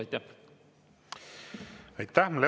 Aitäh!